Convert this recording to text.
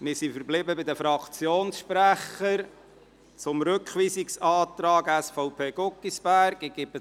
Wir sind in Zusammenhang mit dem Rückweisungsantrag SVP/Guggisberg bei den Fraktionssprechern verblieben.